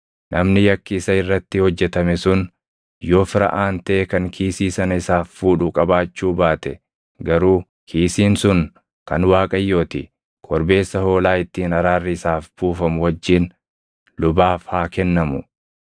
Namni yakki isa irratti hojjetame sun yoo fira aantee kan kiisii sana isaaf fuudhu qabaachuu baate garuu kiisiin sun kan Waaqayyoo ti; korbeessa hoolaa ittiin araarri isaaf buufamu wajjin lubaaf haa kennamu.